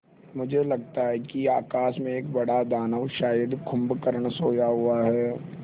मुझे लगता है कि आकाश में एक बड़ा दानव शायद कुंभकर्ण सोया हुआ है